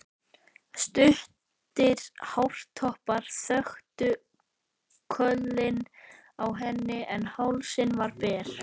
Stuttir hártoppar þöktu kollinn á henni en hálsinn var ber.